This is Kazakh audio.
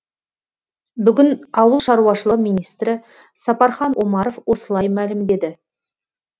бүгін ауыл шаруашылығы министрі сапархан омаров осылай мәлімдеді